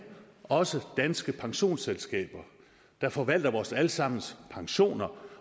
også danske pensionsselskaber der forvalter vores alle sammens pensioner